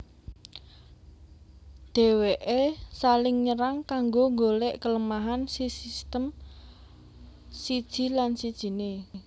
Deweke saling nyerang kanggo golek kelemahan sisitem siji lan sijine